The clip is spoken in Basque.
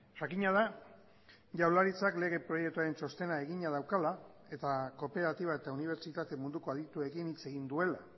jakina da jaurlaritzak lege proiektuaren txostena egina daukala eta kooperatiba eta unibertsitate munduko adituekin hitz egin duela